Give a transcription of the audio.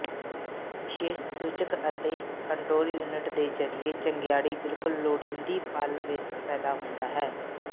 ਵਿਸ਼ੇਸ਼ ਸੂਚਕ ਅਤੇ ਕੰਟਰੋਲ ਯੂਨਿਟ ਦੇ ਜ਼ਰੀਏ ਚੰਗਿਆੜੀ ਬਿਲਕੁਲ ਲੋੜੀਦੀ ਪਲ ਵਿੱਚ ਪੈਦਾ ਹੁੰਦਾ ਹੈ